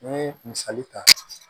N'i ye misali ta